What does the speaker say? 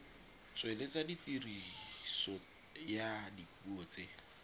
tsweletsa tiriso ya dipuo tse